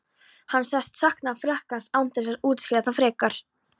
Hann sagðist sakna Frakklands án þess að útskýra það frekar.